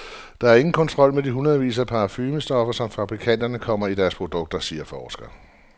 Der er ingen kontrol med de hundredvis af parfumestoffer, som fabrikanterne kommer i deres produkter, siger forsker.